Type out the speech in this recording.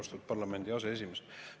Austatud parlamendi aseesimees!